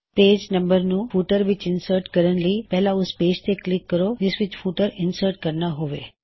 page numbers ਨੂੰ footer ਵਿੱਚ insert ਕਰਨ ਲਈ ਪਹਿਲਾ ਓਸ ਪੇਜ ਤੇ ਕਲਿੱਕ ਕਰੋ ਜਿਸ ਵਿੱਚ ਫੁਟਰ ਇਨਸਰਟ ਕਰਨਾ ਹੋਵੇ